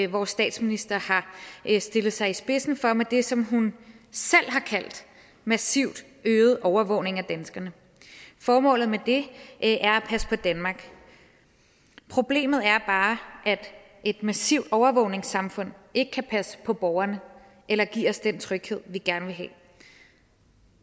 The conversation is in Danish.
vores statsminister har stillet sig i spidsen for med det som hun selv har kaldt massivt øget overvågning af danskerne formålet med det er at passe på danmark problemet er bare at et massivt overvågningssamfund ikke kan passe på borgerne eller give os den tryghed vi gerne vil have